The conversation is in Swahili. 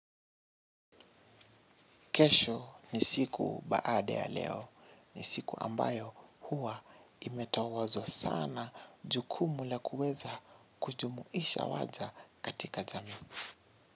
Kesho ni siku baada ya leo, ni siku ambayo huwa imetawazwa sana jukumu la kuweza kujumuisha waja katika jamii.